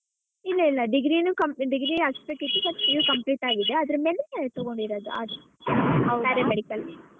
ಇಲ್ಲ ಇಲ್ಲ degree ನು comp~ degree complete ಅದ್ರಮೇಲೆ ತೊಗೊಂಡಿರೋದು paramedical .